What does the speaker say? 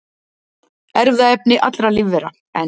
Erfðaefni allra lífvera, en